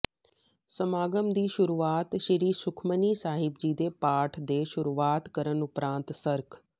ਸਮਾਗਮ ਦੀ ਸ਼ੁਰੂਆਤ ਸ੍ਰੀ ਸੁਖਮਨੀ ਸਾਹਿਬ ਜੀ ਦੇ ਪਾਠ ਦੇ ਸ਼ੁਰੂਆਤ ਕਰਨ ਉਪਰੰਤ ਸਰਕ